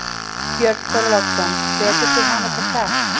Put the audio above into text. Björn Þorláksson: Hvetur þú hana til þess?